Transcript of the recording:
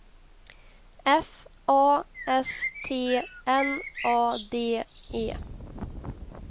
F A S T N A D E